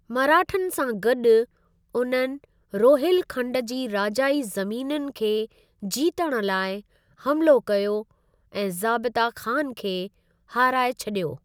मराठनि सां गॾु, उन्हनि रोहिलखंड जी राजाई ज़मीनुनि खे जीतण लाइ हमिलो कयो ऐं ज़ाबिता खान खे हाराए छॾियो।